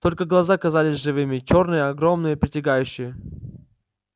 только глаза казались живыми чёрные огромные притягивающие